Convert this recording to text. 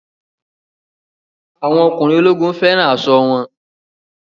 Àwọn ọkùnrin ológun fẹ́ràn aṣọ wọn